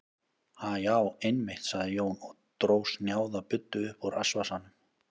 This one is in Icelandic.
Ha, já, einmitt, sagði Jón og dró snjáða buddu upp úr rassvasanum.